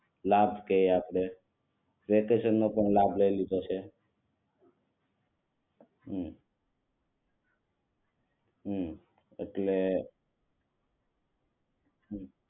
લાભ કૈયે આપણે વેકેશન નો ઘણો લાભ લઇ લીધો છે આપણે હમ